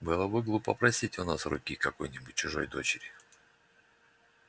было бы глупо просить у нас руки какой-нибудь чужой дочери